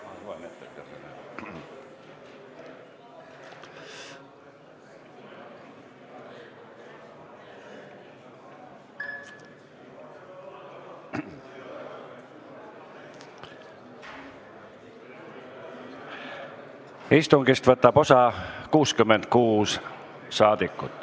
Kohaloleku kontroll Istungist võtab osa 66 saadikut.